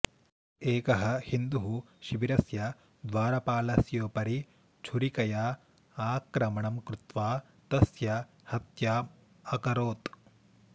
एकः हिन्दुः शिबिरस्य द्वारपालस्योपरि छुरिकया आक्रमणं कृत्वा तस्य हत्याम् अकरोत्